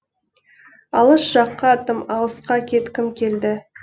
алыс жаққа тым алысқа кеткім келді